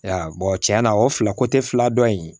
Ya tiɲɛna o fila fila dɔ in